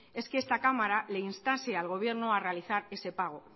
es que esta cámara le instase al gobierno a realizar ese pago